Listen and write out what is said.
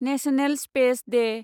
national space Day